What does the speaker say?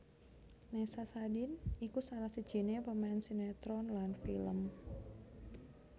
Nessa Sadin iku salah sijiné pemain sinetron lan film